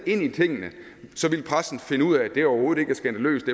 i tingene ville pressen finde ud af at det overhovedet ikke er skandaløst